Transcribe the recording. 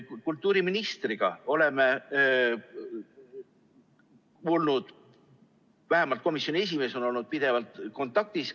Kultuuriministriga oleme olnud, vähemalt komisjoni esimees on olnud, pidevalt kontaktis.